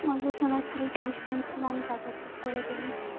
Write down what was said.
আমাকে শোনাচ্ছিলে আমি শুনছিলাম তার পর চুপ করে গেলি